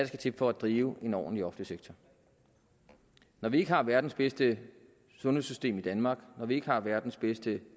til for at drive en ordentlig offentlig sektor når vi ikke har verdens bedste sundhedssystem i danmark når vi ikke har verdens bedste